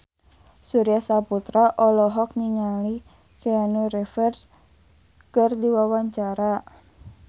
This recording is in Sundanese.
Surya Saputra olohok ningali Keanu Reeves keur diwawancara